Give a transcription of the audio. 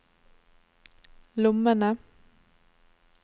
lommene